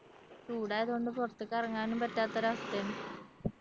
ചൂടായത് കൊണ്ട് പുറത്തേക്കിറങ്ങാനും പറ്റാത്തൊരു അവസ്ഥയാണ്